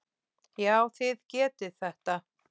Já, þið getið þetta.